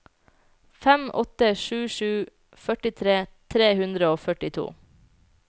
fem åtte sju sju førtitre tre hundre og førtito